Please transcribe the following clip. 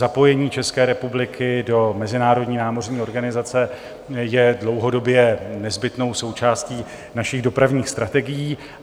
Zapojení České republiky do mezinárodní námořní organizace je dlouhodobě nezbytnou součástí našich dopravních strategií.